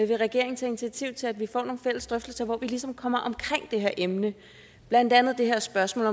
vil regeringen tage initiativ til at vi får nogle fælles drøftelser hvor vi ligesom kommer omkring det her emne blandt andet det her spørgsmål